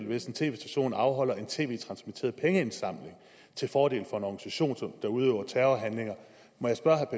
hvis en tv station afholder en tv transmitteret pengeindsamling til fordel for en organisation der udøver terrorhandlinger må jeg spørge herre